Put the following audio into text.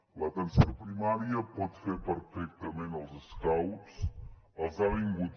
l’atenció primària pot fer perfectament els scouts els ha fet